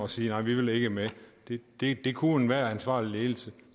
sige nej vi vil ikke med det kunne enhver ansvarlig ledelse